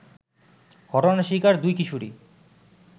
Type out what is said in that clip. ঘটনার শিকার দুই কিশোরী